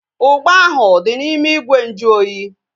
Ugba ahu dị n'ime ìgwè nju oyi